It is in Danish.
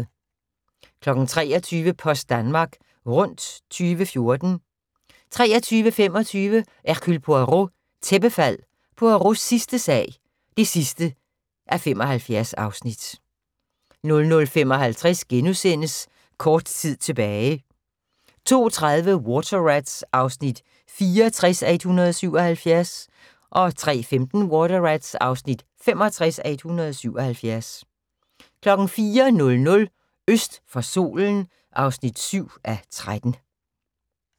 23:00: Post Danmark Rundt 2014 23:25: Hercule Poirot: Tæppefald – Poirots sidste sag (75:75) 00:55: Kort tid tilbage * 02:30: Water Rats (64:177) 03:15: Water Rats (65:177) 04:00: Øst for solen (7:13)